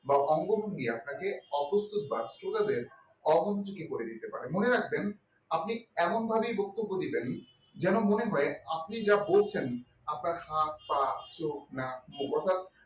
বা অঙ্গভঙ্গি আপনাকে অপ্রস্তুত বা শ্রোতাদের অমনোযোগী করে দিতে পারে মনে রাখবেন আপনি এমন ভাবেই বক্তব্য দিবেন যেন মনে হয় আপনি যা বলছেন আপনার হাত পা চোখ নাক মুখ অর্থাৎ